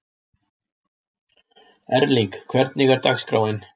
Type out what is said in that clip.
Erling, hvernig er dagskráin?